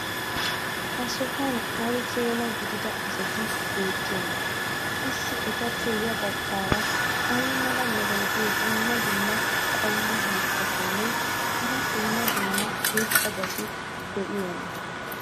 ha sohuwan ay keenaa gidiya asati beetiyoonaa? qassi etappe ya bagaara ay mala meray diyo dumma dumma qommo mitattinne hara dumma dumma irxxabati de'iyoonaa?